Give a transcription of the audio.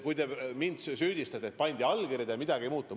Te süüdistate mind, et pandi allkirjad ja midagi ei muutunud.